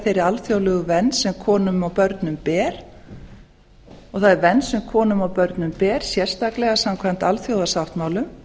þeirri alþjóðlegu vernd sem konum og börnum ber og það er vernd sem konum og börnum ber sérstaklega samkvæmt alþjóðasáttmálum